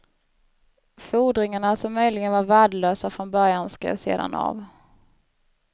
Fordringarna, som möjligen var värdelösa från början, skrevs sedan av.